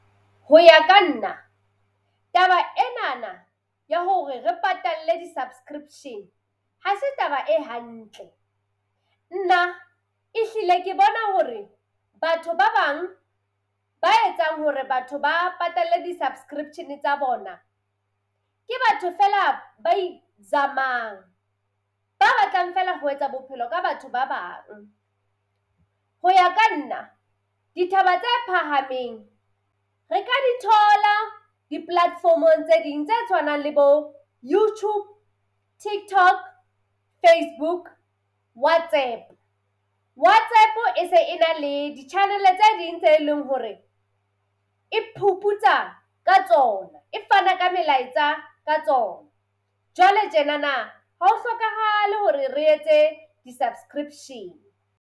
Ho ya ka nna taba enana ya hore re patalle di-subscription ha se taba e hantle. Nna ehlile ke bona hore batho ba bang ba etsang hore batho ba patalle di-subscription tsa bona, ke batho feela ba izamang. Ba batlang feela ho etsa bophelo ka batho ba bang. Ho ya ka nna dithaba tse phahameng re ka di thola di-platform-ong tse ding tse tshwanang le bo YouTube, TikTok, Facebook, WhatsApp. WhatsApp e se e na le di-channel-e tse ding tse leng hore e phuputsa ka tsona e fana ka melaetsa ka tsona. Jwale tjenana ha ho hlokahale hore re etse di-subscription.